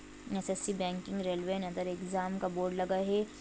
SSC. Banking railway and other exam का board लगा है।